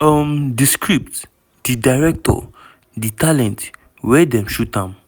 um di script di director di talent wia dem shoot am?"